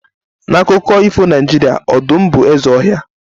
na akụkọ ifo Naijiria, ọdụm bụ eze ọhịa